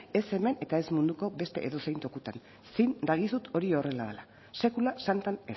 ez hemen eta ez munduko beste edozein tokitan zin dagizut hori horrela dela sekula santan